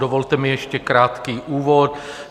Dovolte mi ještě krátký úvod.